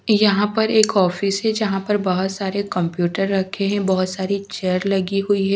यहां पर एक ऑफिस है जहां पर बहुत सारे कंप्यूटर रखे हैं बहुत सारी चेयर लगी हुई हैं।